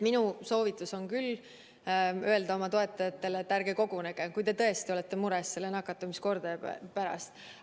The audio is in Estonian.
Minu soovitus on küll öelda oma toetajatele, et ärge kogunege, kui te tõesti olete mures praeguse nakatumiskordaja pärast.